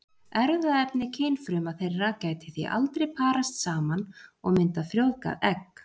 Erfðaefni kynfruma þeirra gæti því aldrei parast saman og myndað frjóvgað egg.